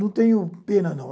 Não tenho pena, não.